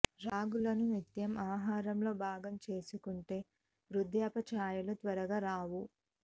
రాగులను నిత్యం ఆహారంలో భాగం చేసుకుంటే వృద్ధాప్య ఛాయలు త్వరగా రావు